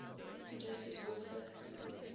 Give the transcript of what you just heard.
produces wolf fifths